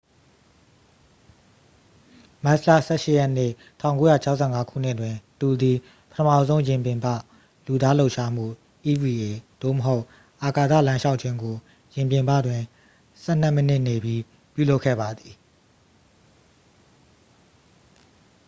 မတ်လ ၁၈ရက်နေ့၊ ၁၉၆၅ခုနှစ်တွင် သူသည် ပထမဆုံး ယာဉ်ပြင်ပ လူသားလှုပ်ရှားမှု eva သို့မဟုတ် အာကာသလမ်းလျှောက်ခြင်းကို ယာဉ်ပြင်ပတွင် ဆယ်နှစ်မိနစ်နေပြီး ပြုလုပ်ခဲ့ပါသည်။